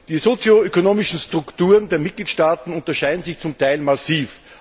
Die sozioökonomischen Strukturen der Mitgliedstaaten unterscheiden sich zum Teil massiv.